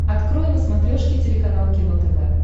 открой на смотрешке телеканал кино тв